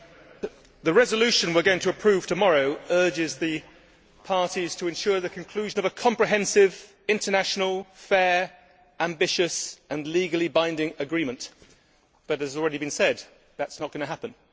Madam President, the resolution we are going to approve tomorrow urges the parties to ensure the conclusion of a comprehensive, international, fair, ambitious and legally binding agreement but, as has already been said, that is not going to happen.